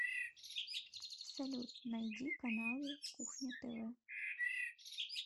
салют найди каналы кухня тв